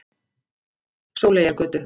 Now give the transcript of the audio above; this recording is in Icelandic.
Sóleyjargötu